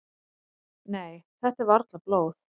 """Nei, þetta er varla blóð."""